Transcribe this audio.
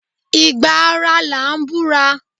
Ìgbà ara là ń búra.